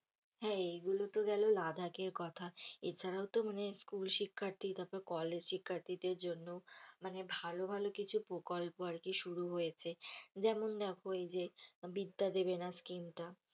হ্যাঁ এইগুলো তো গেল লাদাখের কথা এছাড়াও তো মানে school শিক্ষার্থী তারপর college শিক্ষার্থীদের জন্য মানে ভালো ভালো কিছু প্রকল্প আরকি শুরু হয়েছে যেমন দেখো এই যে বিদ্যা দেবেনা স্কীম টা,